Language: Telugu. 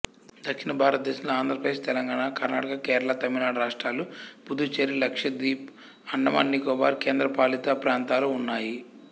దక్షిణ భారతదేశంలో ఆంధ్రప్రదేశ్ తెలంగాణ కర్ణాటక కేరళ తమిళనాడు రాష్ట్రాలు పుదుచ్చేరి లక్షద్వీప్ అండమాన్ నికోబార్ కేంద్రపాలిత ప్రాంతాలూ ఉన్నాయి